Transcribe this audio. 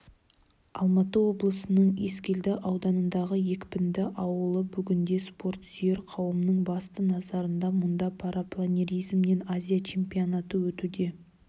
алматы облысының ескелді ауданындағы екпінді ауылы бүгінде спортсүйер қауымның басты назарында мұнда парапланиризмнен азия чемпионаты өтуде